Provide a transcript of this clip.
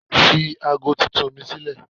Fi ago titun ni sílẹ̀!